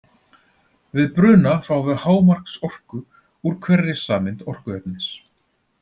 Við bruna fáum við hámarksorku úr hverri sameind orkuefnis.